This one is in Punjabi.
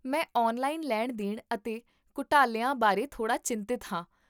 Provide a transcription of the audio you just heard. ਮੈਂ ਔਨਲਾਈਨ ਲੈਣ ਦੇਣ ਅਤੇ ਘੁਟਾਲਿਆਂ ਬਾਰੇ ਥੋੜਾ ਚਿੰਤਤ ਹਾਂ